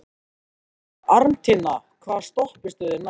Arntinna, hvaða stoppistöð er næst mér?